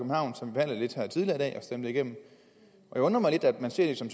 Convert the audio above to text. stemte igennem det undrer mig lidt at man ser det som